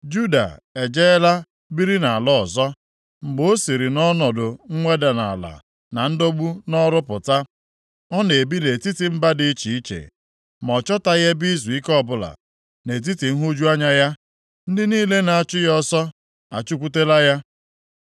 Juda ejeela biri nʼala ọzọ, mgbe o siri nʼọnọdụ mweda nʼala na ndọgbu nʼọrụ pụta. Ọ na-ebi nʼetiti mba dị iche iche, ma ọ chọtaghị ebe izuike ọbụla. Nʼetiti nhụju anya ya ndị niile na-achụ ya ọsọ achụkwutela ya.